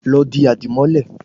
Lọ di àdìmọ́lẹ̀